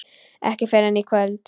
Ekki fyrr en í kvöld.